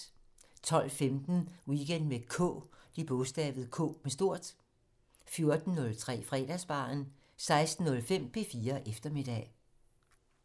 12:15: Weekend med K 14:03: Fredagsbaren 16:05: P4 Eftermiddag